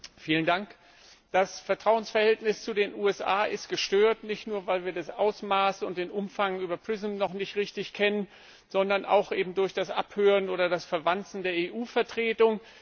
Herr Präsident! Das Vertrauensverhältnis zu den USA ist gestört, nicht nur weil wir das Ausmaß und den Umfang von PRISM noch nicht richtig kennen, sondern eben auch durch das Abhören oder das Verwanzen der EU Vertretung.